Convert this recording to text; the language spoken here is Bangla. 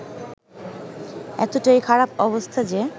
এতটাই খারাপ অবস্থা যে